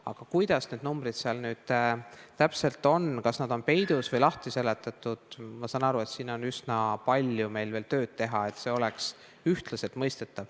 Aga kuidas need numbrid seal nüüd täpselt on, kas need on peidus või lahti seletatud – ma saan aru, et siin on meil veel üsna palju tööd teha, et see oleks üheselt mõistetav.